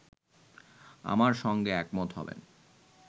আমার সঙ্গে একমত হবেন